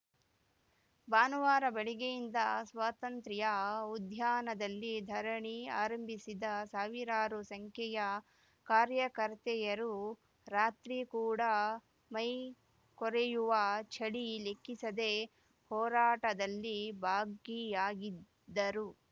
ಭಾನುವಾರ ಬೆಳಗ್ಗೆಯಿಂದ ಸ್ವಾತಂತ್ರ್ಯ ಉದ್ಯಾನದಲ್ಲಿ ಧರಣಿ ಆರಂಭಿಸಿದ್ದ ಸಾವಿರಾರು ಸಂಖ್ಯೆಯ ಕಾರ್ಯಕರ್ತೆಯರು ರಾತ್ರಿ ಕೂಡ ಮೈ ಕೊರೆಯುವ ಚಳಿ ಲೆಕ್ಕಿಸದೆ ಹೋರಾಟದಲ್ಲಿ ಭಾಗಿಯಾಗಿದ್ದರು